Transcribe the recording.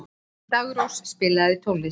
Daggrós, spilaðu tónlist.